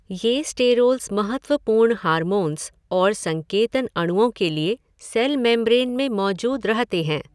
ये स्टेरोल्स महत्वपूर्ण हार्मोन्स और संकेतन अणुओं के लिए सेल मैम्ब्रेन में मौजूद रहते हैं।